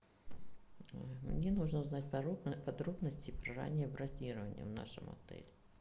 мне нужно узнать подробности про раннее бронирование в нашем отеле